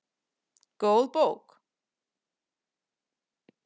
Góð bók